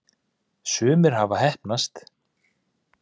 sumir hafa heppnast